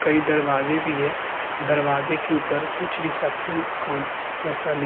कहीं दरवाजे भी है। दरवाजे के ऊपर कुछ रिसेप्शन कोंट जैसा लिख --